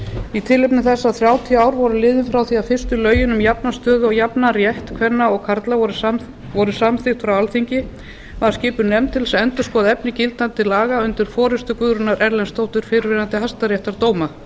í tilefni þess að þrjátíu ár voru liðin frá því að fyrstu lögin um jafna stöðu og jafnan rétt kvenna og karla voru samþykkt frá alþingi var skipuð nefnd til þess að endurskoða efni laga númer níutíu og sex tvö þúsund undir forustu guðrúnar erlendsdóttur fyrrverandi hæstaréttardómara